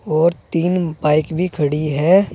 और तीन बाइक भी खड़ी हैं।